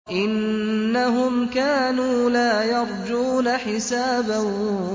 إِنَّهُمْ كَانُوا لَا يَرْجُونَ حِسَابًا